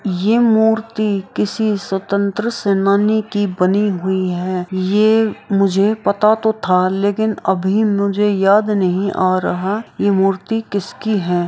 ये मूर्ति किसी स्वतंत्र सेनानी की बनी हुई है ये मुझे पता तो था लेकिन अभी मुझे याद नहीं आ रहा ये मूर्ति किसकी है।